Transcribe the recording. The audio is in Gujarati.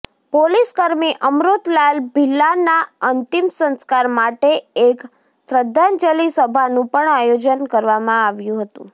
પોલીસકર્મી અમૃતલાલ ભિલાલાના અંતિમ સંસ્કાર માટે એક શ્રદ્ધાંજલિ સભાનું પણ આયોજન કરવામાં આવ્યું હતું